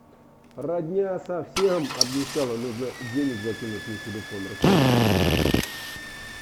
родня совсем обнищала нужно денег закинуть на телефон расскажи как